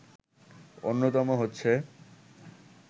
অন্যতম হচ্ছে